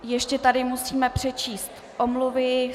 Ještě tady musíme přečíst omluvy.